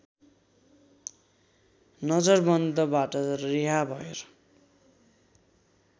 नजरबन्दबाट रिहा भएर